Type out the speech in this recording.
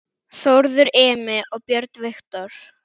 Þórður Emi og Björn Viktor